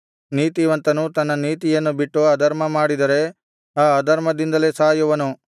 ನೀತಿವಂತನು ತನ್ನ ನೀತಿಯನ್ನು ಬಿಟ್ಟು ಅಧರ್ಮಮಾಡಿದರೆ ಆ ಅಧರ್ಮದಿಂದಲೇ ಸಾಯುವನು